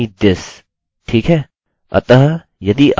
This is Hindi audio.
याsend me this ठीक है